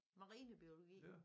Marinebiologi